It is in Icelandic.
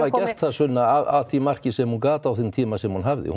Sunna af því marki sem hún gat á þeim tíma sem hún hafði